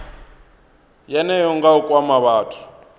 yeneyo nga u kwama vhathu